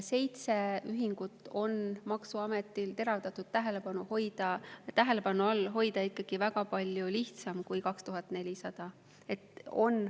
Seitset ühingut on maksuametil teravdatud tähelepanu all hoida ikkagi väga palju lihtsam kui 2400.